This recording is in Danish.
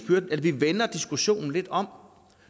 vender diskussionen lidt om